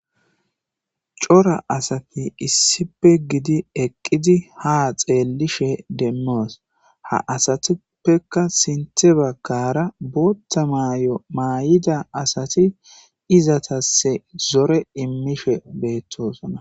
cora asati issipe gidi eqqidi ha xeellishe demmoos ha asatippeka sinthe bagkara bootta may7o maay7ida asati izatasse zore immishe beettoosona